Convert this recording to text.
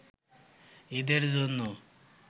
ঈদের জন্য